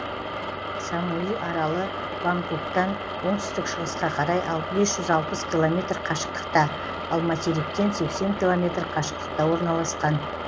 самуи аралы бангкоктан оңтүстік шығысқа қарай бес жүз алпыс километр қашықтықта ал материктен сексен километр қашықтықта орналасқан